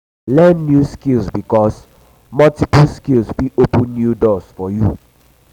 learn new skill bikos multiply skills fit open new doors for um yu